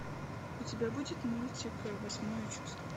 у тебя будет мультик восьмое чувство